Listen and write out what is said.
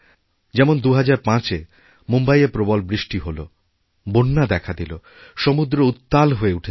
যেমন ২০০৫এ মুম্বইয়ে প্রবল বৃষ্টি হল বন্যা দেখা দিল সমুদ্র উত্তাল হয়েউঠেছিল